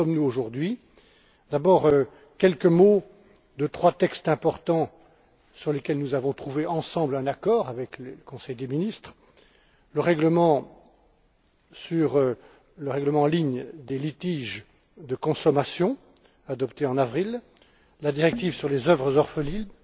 Où en sommes nous aujourd'hui? D'abord, quelques mots concernant trois textes importants, sur lesquels nous avons trouvé ensemble un accord avec le Conseil des ministres le règlement relatif au règlement en ligne des litiges de consommation, adopté en avril, la directive sur les œuvres orphelines,